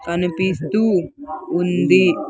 కనిపిస్తూ ఉంది.